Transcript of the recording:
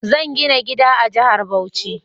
Zan gina gida a jahar Bauchi